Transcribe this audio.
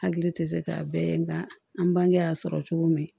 Hakili tɛ se k'a bɛɛ ye nka an bange y'a sɔrɔ cogo min